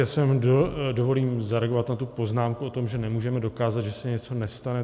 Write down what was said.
Já si dovolím zareagovat na tu poznámku o tom, že nemůžeme dokázat, že se něco nestane.